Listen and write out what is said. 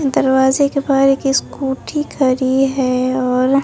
दरवाजे के बाहर एक स्कूटी खड़ी है और--